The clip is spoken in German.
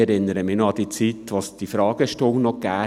Ich erinnere mich noch an die Zeiten, als es die Fragestunde gab.